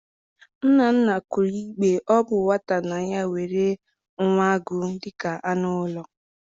Nna nna kwuru mgbe ọ bụ nwata na ya nwere nwa agụ dịka anụ ụlọ